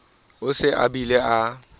o se abile a le